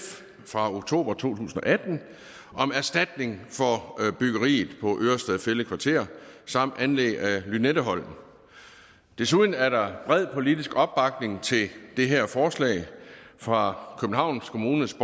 fra oktober to tusind og atten om erstatning for byggeriet på ørestad fælled kvarter samt anlæg af lynetteholmen desuden er der bred politisk opbakning til det her forslag fra københavns kommunes